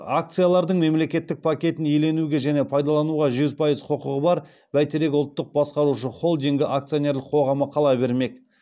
акциялардың мемлекеттік пакетін иеленуге және пайдалануға жүз пайыз құқығы бар бәйтерек ұлттық басқарушы холдингі акционерлік қоғамы қала бермек